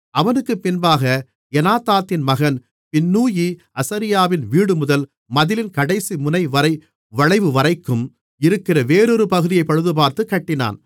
அவனுக்குப் பின்னாக எனாதாதின் மகன் பின்னூயி அசரியாவின் வீடுமுதல் மதிலின் கடைசிமுனைவரை வளைவுவரைக்கும் இருக்கிற வேறொரு பகுதியைப் பழுதுபார்த்துக் கட்டினான்